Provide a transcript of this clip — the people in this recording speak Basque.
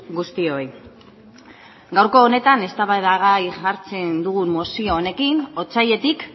guztioi gaurko honetan eztabaidagai hartzen dugun mozio honekin otsailetik